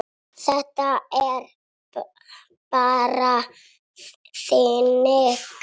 Þetta er bara þannig.